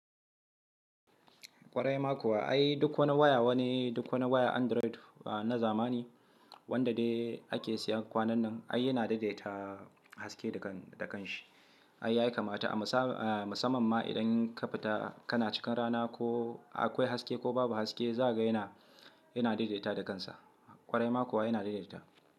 Kwarai ma kuwa ai duk wani waya wani duk wani waya Android na zamani wanda dai ake siyan kwanan nan ai yana daidaita haske da kanshi. Ai yayi kamata a musamman ma idan ka fita kana cikin rana ko akwai haske ko babu haske zakaga yana daidaitawa da kansa. Kwarai ma kuwa yana daidaita.